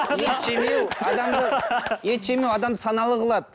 ет жемеу адамды саналы қылады